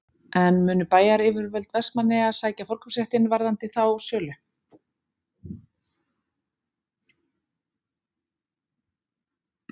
En munu bæjaryfirvöld Vestmannaeyja sækja forkaupsréttinn varðandi þá sölu?